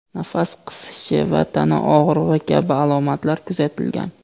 nafas qisishi va tana og‘rig‘i kabi alomatlar kuzatilgan.